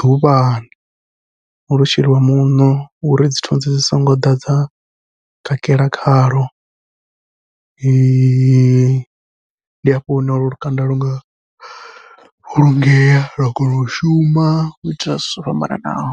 ḓuvhani, lo sheliwa muṋo uri dzi thunzi dzi songo ḓa dza kakela khalwo ndi hafho hune lukanda lunga vhulungea lwa kona u shuma u ita zwithu zwo fhambananaho.